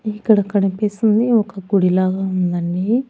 ఇక్కడ కనిపిస్తుంది ఒక గుడి లాగా ఉందండి.